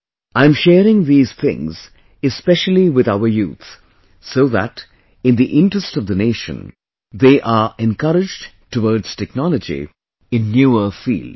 I am sharing these things especially with our youth so that in the interest of the nation they are encouraged towards technology in newer fields